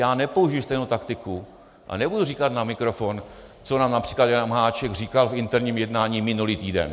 Já nepoužiji stejnou taktiku a nebudu říkat na mikrofon, co nám například Jan Hamáček říkal v interním jednání minulý týden.